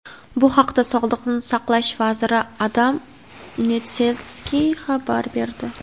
Bu haqda Sog‘liqni saqlash vaziri Adam Nedzelskiy xabar berdi.